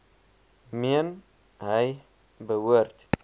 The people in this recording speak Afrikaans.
meen hy behoort